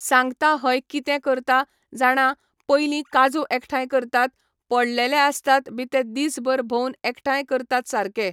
सांगता हय कितें करता जाणां पयलीं काजू एकठांय करतात पडलेले आसतात बी ते दीसभर भोवन एकठांय करतात सारकें.